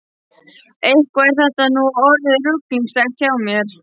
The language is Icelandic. Eitthvað er þetta nú orðið ruglingslegt hjá mér.